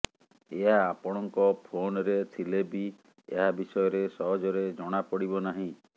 ଏହା ଆପଣଙ୍କ ଫୋନରେ ଥିଲେ ବି ଏହା ବିଷୟରେ ସହଜରେ ଜଣା ପଡିବ ନାହିଁ